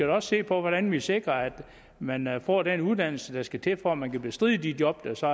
også se på hvordan vi sikrer at man man får den uddannelse der skal til for at man kan bestride de job der så